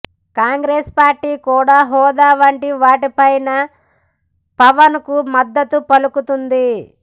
Congress party కూడా హోదా వంటి వాటి పైన పవన్కు మద్దతు పలుకుతోంది